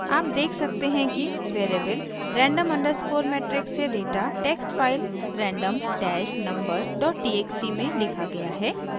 आप देख सकते हैं कि वेरिएबल random underscore matrix से data text file random dash numbers dot txt में लिखा गया है